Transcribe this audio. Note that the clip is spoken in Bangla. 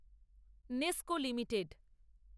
NESCO limited